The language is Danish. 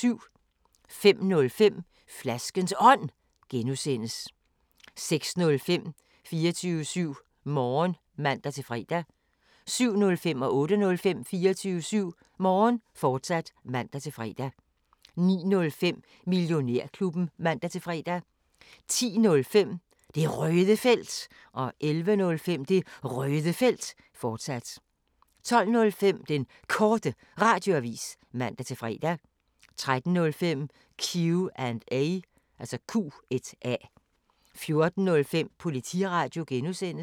05:05: Flaskens Ånd (G) 06:05: 24syv Morgen (man-fre) 07:05: 24syv Morgen, fortsat (man-fre) 08:05: 24syv Morgen, fortsat (man-fre) 09:05: Millionærklubben (man-fre) 10:05: Det Røde Felt 11:05: Det Røde Felt, fortsat 12:05: Den Korte Radioavis (man-fre) 13:05: Q&A 14:05: Politiradio (G)